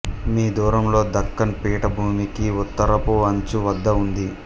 మీ దూరంలో దక్కన్ పీఠభూమికి ఉత్తరపు అంచు వద్ద ఉంది